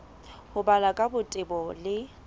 ho balwa ka botebo le